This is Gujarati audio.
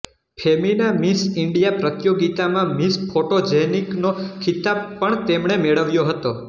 ફેમિના મિસ ઈન્ડિયા પ્રતિયોગિતામાં મિસ ફોટોજેનીક નો ખિતાબ પણ તેમણે મેળવ્યો હતો